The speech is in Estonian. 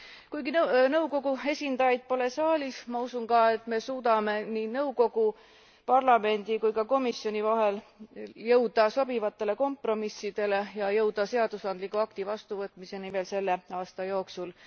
Kuigi nõukogu esindajaid pole saalis, ma usun ka, et me suudame nii nõukogu, parlamendi kui ka komisjoni vahel jõuda sobivatele kompromissidele ja jõuda seadusandliku akti vastuvõtmiseni veel selle aasta jooksul.